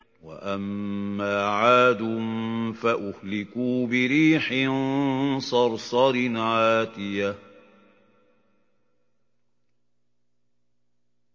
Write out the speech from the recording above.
وَأَمَّا عَادٌ فَأُهْلِكُوا بِرِيحٍ صَرْصَرٍ عَاتِيَةٍ